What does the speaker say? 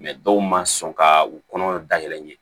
dɔw ma sɔn ka u kɔnɔ dayɛlɛ ɲɛ